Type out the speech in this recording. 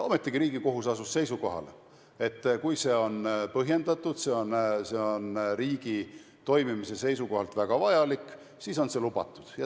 Ometigi asus Riigikohus seisukohale, et kui see on põhjendatud ja riigi toimimise seisukohalt väga vajalik, siis on see lubatud.